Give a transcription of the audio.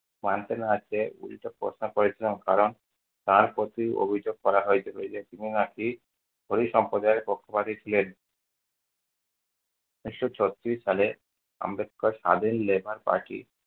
মানতে না চেয়ে উল্টো প্রশ্ন করেছিলেন কারণ তাঁর প্রতি অভিযোগ করা হয়েছিল যে তিনি নাকি ওই সম্প্রদায়ের পক্ষপাতী ছিলেন। উনিশশো চৌত্রিশ সালে আম্বেদকর স্বাধীন labour party